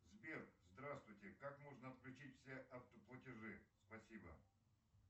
сбер здравствуйте как можно отключить все автоплатежи спасибо